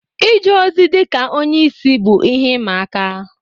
Ije ozi dị ka onye isi bụ ihe ịma aka.